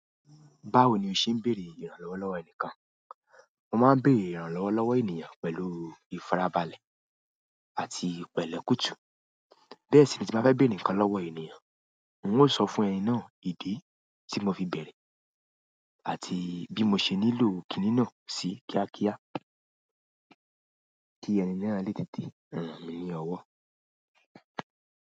Báwo ni o ṣe n bere ìrànlọ́wọ́ lọwọ enikan? Mo máa ń bèrè ìrànlọ́wọ́ lọ́wọ́ ènìyàn pẹ̀lú ìfarabalẹ̀ àti ìpẹ̀lẹ́ kùtù. Bẹ́ẹ̀ sì ni tí màá bá fẹ́ béèrè ǹkan lọ́wọ́ ènìyàn, n óò sọ fún ẹni náà ìdí tí mo fi bere àti bí mo ṣe nílò kíní náà sí kíákíá kí ẹni náà lè tètè rán mi ní ọwọ́.